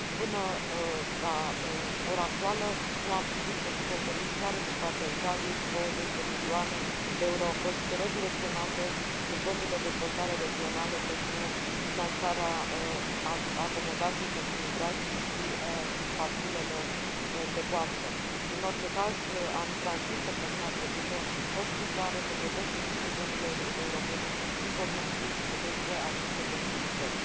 Până la ora actuală, nu am primit decât o solicitare din partea Italiei și, deja, 220 de milioane de euro au fost redirecționate din Fondul de dezvoltare regională pentru finanțarea centrelor de cazare pentru migranți și a patrulelor de coastă. În orice caz, am transmis săptămâna trecută o scrisoare către toți miniștrii fondurilor europene, informându i despre aceste posibilități.